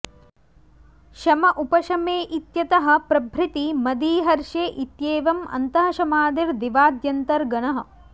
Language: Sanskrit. शम उपशमे इत्यतः प्रभृति मदी हर्षे इत्येवम् अन्तः शमादिर् दिवाद्यन्तर्गणः